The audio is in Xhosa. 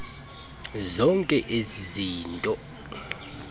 zonke ezi zinto